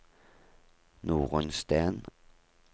Norunn Steen